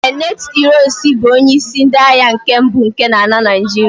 ee, late ironsi bu onye isi ndi agha nke mbu nke ala Naijiria